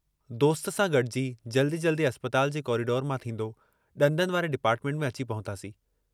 दोस्त सां गॾिजी जल्दी जल्दी अस्पताल जे कॉरीडोर मां थींदो, ॾंदनि वारे डिपार्टमेंट में अची पहुतासीं।